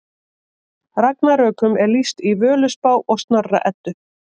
Ragnarökum er lýst í Völuspá og Snorra Eddu.